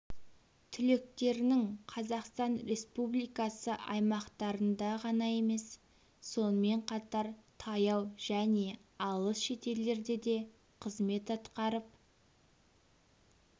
түлектерінің қазақстан республикасы аймақтарында ғана емес сонымен қатар таяу және алыс шетелдерде де қызмет атқарып